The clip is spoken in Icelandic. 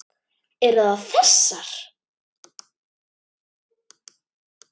Eru það þessar?